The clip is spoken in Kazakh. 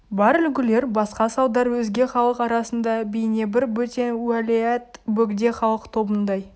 бар үлгілер басқа салдар өзге халық арасында бейнебір бөтен уәләят бөгде халық тобындай